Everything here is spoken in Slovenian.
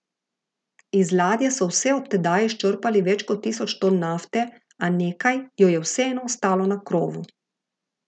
Iz ladje so vse od tedaj izčrpali več kot tisoč ton nafte, a nekaj jo je vseeno ostalo na krovu.